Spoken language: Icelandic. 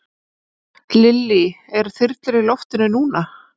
Lillý: Eru þyrlur í loftinu núna?